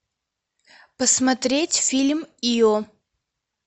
посмотреть фильм ио